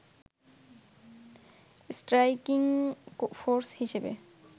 striking force হিসেবে